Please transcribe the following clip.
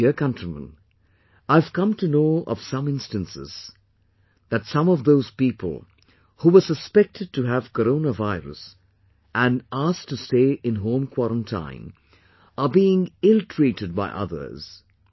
My dear countrymen, I have come to know of some instances, that some of those people who were suspected to have corona virus and asked to stay in home quarantine, are being illtreated by others